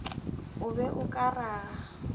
o be o ka raga